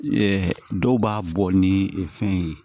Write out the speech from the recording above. dɔw b'a bɔ ni fɛn ye